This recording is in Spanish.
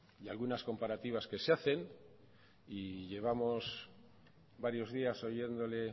y algunas comparativas que se hacen y llevamos varios días oyéndole